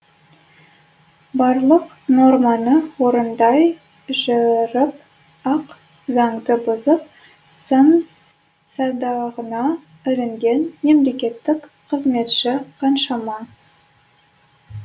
барлық норманы орындай жүріп ақ заңды бұзып сын садағына ілінген мемлекеттік қызметші қаншама